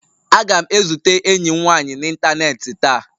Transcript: Aga m ezute enyi m nwanyị n'ịntanetị taa